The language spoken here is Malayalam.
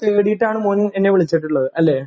തേടിയിട്ടാണ് മോണ് എന്നെ വിളിച്ചിട്ടുള്ളത് അല്ലേ